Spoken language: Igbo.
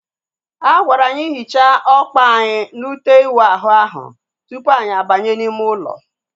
A gwara anyị hichaa ọkpa anyị na ute iwu ahụ ahu tupu anyị abanye n'ime ụlọ